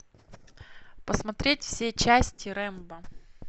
посмотреть все части рэмбо